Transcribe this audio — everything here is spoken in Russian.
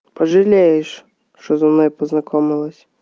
пожалеешь что со мной познакомилась